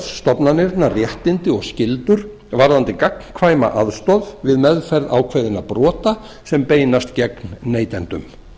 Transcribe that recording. stofnanirnar réttindi og skyldur varðandi gagnkvæma aðstoð við meðferð ákveðinna brota sem beinast gegn neytendum